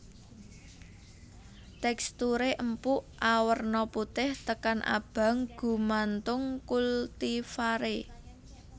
Teksturé empuk awerna putih tekan abang gumantung kultivaré